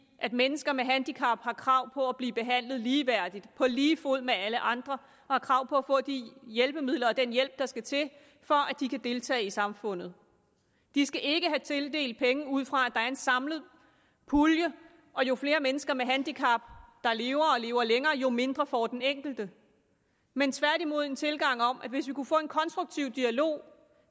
at mennesker med handicap har krav på at blive behandlet ligeværdigt på lige fod med alle andre og har krav på at få de hjælpemidler og den hjælp der skal til for at de kan deltage i samfundet de skal ikke tildeles penge ud fra at der er en samlet pulje og jo flere mennesker med handicap der lever og lever længere jo mindre får den enkelte men tværtimod ud fra en tilgang om at hvis vi kan få en konstruktiv dialog